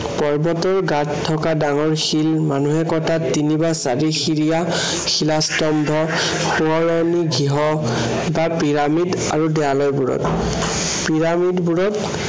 পৰ্বতৰ গাত থকা ডাঙৰ শিল, মানুহে কটা তিনি বা চাৰিসিৰিয়া শিলাস্তম্ভ, সোঁৱৰণী গৃহ বা পিৰামিড আৰু দেৱালয়বোৰত পিৰামিডবোৰত